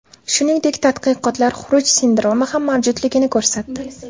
Shuningdek, tadqiqotlar xuruj sindromi ham mavjudligini ko‘rsatdi.